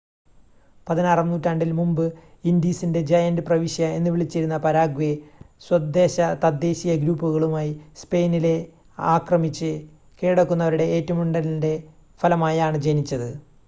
"16 ആം നൂറ്റാണ്ടിൽ മുമ്പ് "ഇൻഡീസിന്റെ ജയന്റ് പ്രവിശ്യ" എന്ന് വിളിച്ചിരുന്ന പരാഗ്വേ സ്വദേശ തദ്ദേശീയ ഗ്രൂപ്പുകളുമായി സ്പെയിനിലെ ആക്രമിച്ച് കീഴടക്കുന്നവരുടെ ഏറ്റുമുട്ടലിന്റെ ഫലമായാണ് ജനിച്ചത്.